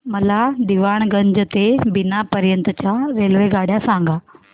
मला दीवाणगंज ते बिना पर्यंत च्या रेल्वेगाड्या सांगा